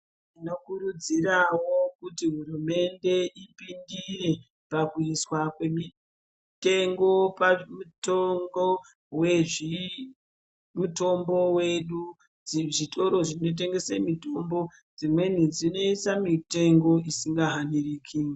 Tinokurudzirawo kuti hurumende ipindire pakuiswa kwemitengo pamitombo wezvi mitombo yedu, zvitoro zvinotengese mitombo dzimweni dzinoise mitengo isingahaniriki.